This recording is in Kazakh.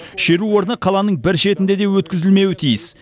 шеру орны қаланың бір шетінде де өткізілмеуі тиіс